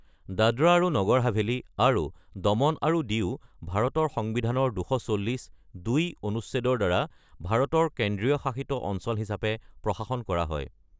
দাদৰা আৰু নগৰ হাভেলী আৰু দমন আৰু দিউ ভাৰতীয় সংবিধানৰ ২৪০ (২) অনুচ্ছেদৰ দ্বাৰা ভাৰতৰ কেন্দ্ৰীয় শাসিত অঞ্চল হিচাপে প্ৰশাসন কৰা হয়।